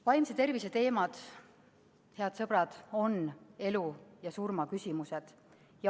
Vaimse tervise teemad, head sõbrad, on elu ja surma küsimused.